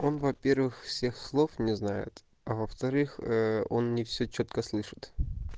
он во-первых всех слов не знает а во-вторых он не всё чётко слышит